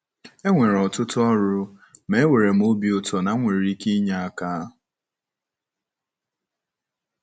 E nwere ọtụtụ ọrụ, ma enwere m obi ụtọ na m nwere ike inye aka.